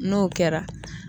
N'o kɛra